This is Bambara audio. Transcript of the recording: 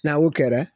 N'a y'o kɛra